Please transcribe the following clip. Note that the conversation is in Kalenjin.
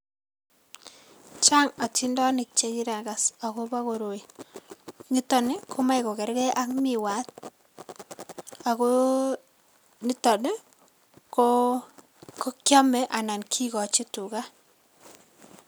chang atindonik che kiagas agobo goroii, nitoni gomache gogergei ak miwat ne kiame ana kigoch tuga